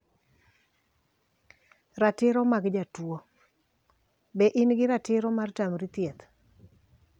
Ratiro mag jatuo: Be in gi ratiro mar tamri thieth